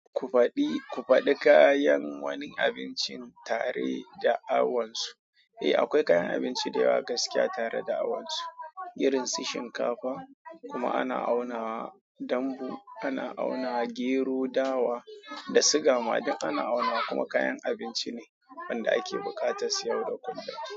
Ku faɗi, ku faɗi kayan wani abincin tare da awansu. Eh, akwai kayan abinci da yawa gaskiya tare da awansu. Irin su shinkafa, kuma ana auna wa, dambu ana auna, gero, dawa da suga ma duk ana aunawa. Kuma kayan abinci ne wanda ake buƙatar siyarwa kullum.